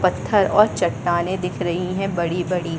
पत्थर और चट्टानें दिख रही है बड़ी-बड़ी --